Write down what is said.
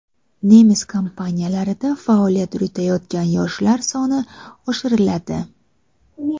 Nemis kompaniyalarida faoliyat yuritayotgan yoshlar soni oshiriladi.